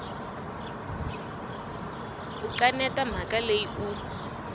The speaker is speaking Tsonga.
u kaneta mhaka leyi u